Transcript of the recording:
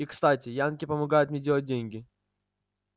и кстати янки помогают мне делать деньги